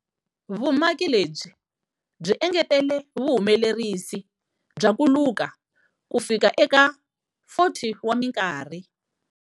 Vumaki lebyi byi engetele vuhumelerisi bya ku luka kufika eka 40 wa minkarhi.